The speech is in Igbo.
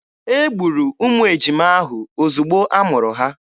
E gburu ụmụ ejima ahụ ozugbo a mụrụ ha.